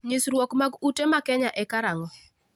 Nyisrwuok mag ute ma Kenya e karang'o?